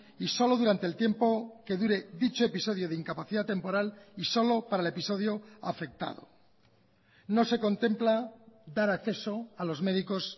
y solo durante el tiempo que dure dicho episodio de incapacidad temporal y solo para el episodio afectado no se contempla dar acceso a los médicos